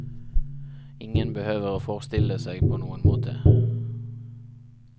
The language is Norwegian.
Ingen behøver å forstille seg på noen måte.